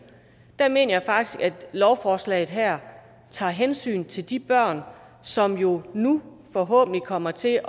der mener jeg faktisk at lovforslaget her tager hensyn til de børn som nu nu forhåbentlig kommer til